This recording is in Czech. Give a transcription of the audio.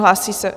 Hlásíte se?